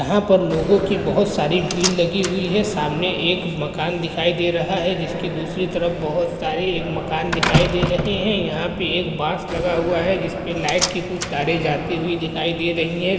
यहा पर लोगो की बहुत सारी भीड़ लगी हुई है सामने एक मकान दिखाई दे रहा है जिसकी दूसरी तरफ बहुत सारे एक मकान दिखाई दे रहे हैं | यहाँ पे एक बास लगा हुआ है जिसपे लाइट की कुछ तारे जाती हुई दिखाई दे रही हैं ।